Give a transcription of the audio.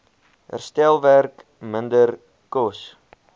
herstelwerk minder kos